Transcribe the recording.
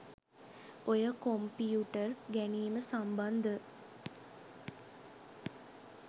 ඔය කොම්පියුටර් ගැනිම සම්බන්ධ